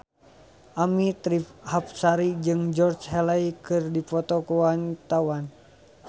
Annisa Trihapsari jeung Georgie Henley keur dipoto ku wartawan